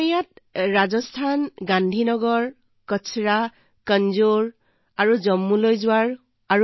মই ৰাজস্থান গান্ধী নগৰ জম্মুৰ কাচৰা কাঞ্জোৰত একেলগে থকাৰ সুযোগ পাইছিলো